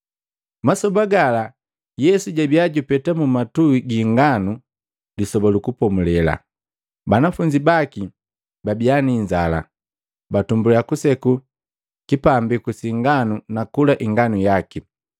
Masoba gala, Yesu jabiya jupeta mumatui gi inganu Lisoba lu Kupomulela, banafunzi baki babiya ni inzala, batumbuliya kuseku kipambiku si inganu nakula inganu yaki.